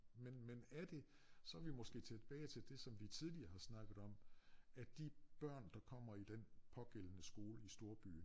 Men men er det så vi måske tilbage til det vi tidligere har snakket om at de børn der kommer i den pågældende skole i storbyen